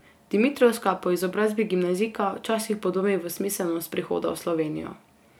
Dimitrovska, po izobrazbi gimnazijka, včasih podvomi v smiselnost prihoda v Slovenijo.